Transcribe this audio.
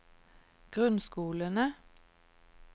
grunnskolene